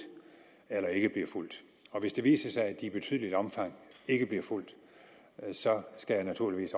eller ikke bliver fulgt og hvis det viser sig at de i betydeligt omfang ikke bliver fulgt så skal jeg naturligvis